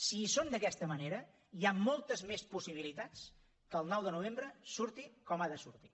si hi són d’aquesta manera hi ha moltes més possibilitats que el nou de novembre surti com ha de sortir